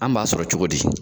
An b'a sɔrɔ cogo di?